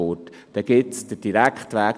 Doch es gibt auch den direkten Weg: